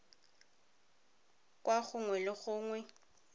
kwa rro nngwe le nngwe